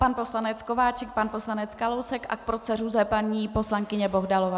Pan poslanec Kováčik, pan poslanec Kalousek a k proceduře paní poslankyně Bohdalová.